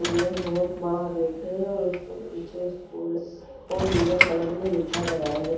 और यह बहुत बडा गेट है और इसके पीछे स्कूल को नीले कलर में लिखा गया है।